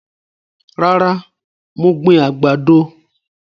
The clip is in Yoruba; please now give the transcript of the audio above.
Rárá, mo gbìn àgbàdo